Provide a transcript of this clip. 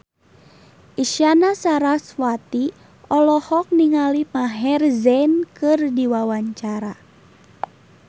Isyana Sarasvati olohok ningali Maher Zein keur diwawancara